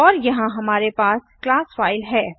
और यहाँ हमारे पास क्लास फ़ाइल है